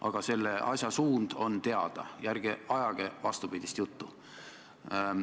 Aga reformi suund on teada ja ärge ajage vastupidist juttu.